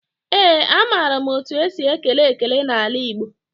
Ee, amaara m etu esi ekele ekele n'ala Igbo.